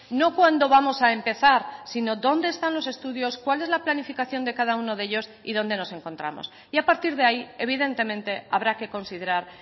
no cuándo vamos a empezar sino dónde están los estudios cuál es la planificación de cada uno de ellos y dónde nos encontramos y a partir de ahí evidentemente habrá que considerar